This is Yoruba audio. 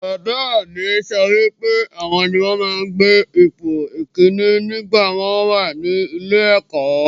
Bàbá mi sọ wípé àwọn ni wọ́n máa ń gbé ipò ìkínní nígbàtí wọ́n wà ní ilé-ẹ̀kọ́.